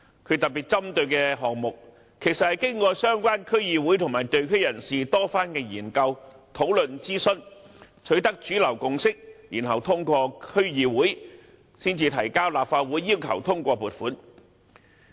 他特別針對的項目，其實是經過相關區議會和地區人士多番研究、討論和諮詢，取得主流共識，然後通過區議會，再提交立法會要求通過撥款。